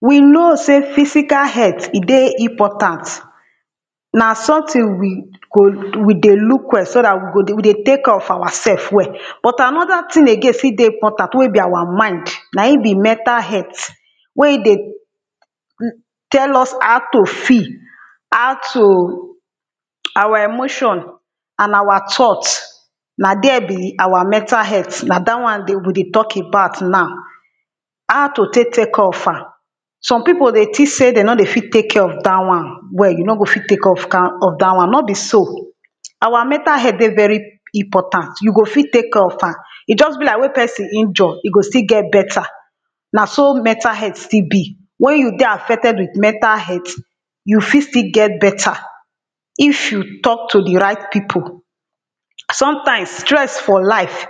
We know sey physical health e dey important, na something we go we dey look well so dat we go dey we dey take care of our self well. but another thing again still dey mportant wey be our mind na im be mental health. wey e dey tell us how to feel, how to our emotion and our thought, na there be our mental health na dat one dey we dey be we dey talk about now. how to take take care of am, some people dey think sey dem nor dey fit take care of dat one well you nor go fit take care of kan dat one nor be so. our mental health dey very important you go fit take care of am, e just be like wen person injure e go still get better. na so mental health still be, wen you dey affected with mental health you fit still get better, if you talk to di right people. some times stress for life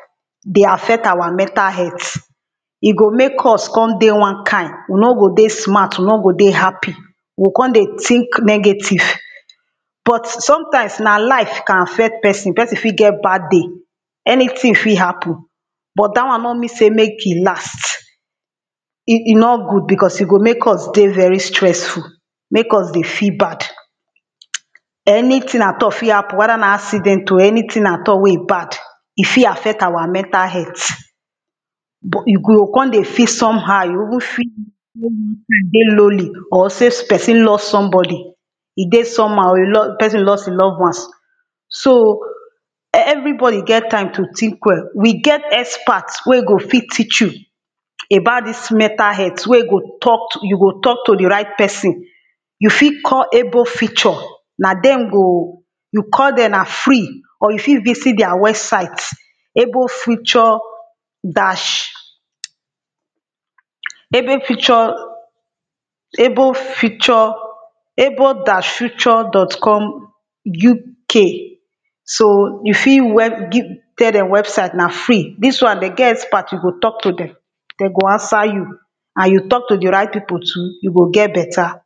dey affect our mental health, e go make us come dey one kin, we nor go dey smart, we nor go dey happy, we go come dey think negative. but sometimes na life can affect person person fit get bad day, anything fit happen, but dat one nor mean sey make e last. e e nor good because e go make us dey very stressful make us dey feel bad anything at all fit happen whether na accident o, anything at all wey e bad e fit affect our mental health. but you go come dey feel some how you even feel dey lonely or sey person lost some body e dey some how person lost e loved ones. so, every body get time to think well we get expert wey e go fit teach you about dis mental health wen e go talk to you go talk to di right person, you fit call able future, na dem go you call dem na free or fit visit their website. able future dash able future able future able dash future dot com UK. so you fit web give tell dem website na free dis one dem get expert you go talk to dem. dem go answer you, and you talk to di right people too you get better.